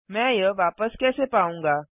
मैं यह वापस कैसे पाऊँगा